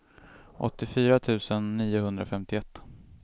åttiofyra tusen niohundrafemtioett